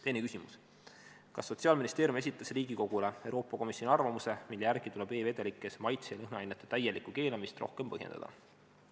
Teine küsimus: "Kas Sotsiaalministeerium esitas Riigikogule Euroopa Komisjoni arvamuse, mille järgi tuleb e-vedelikes maitse- ja lõhnaainete täielikku keelamist rohkem põhjendada?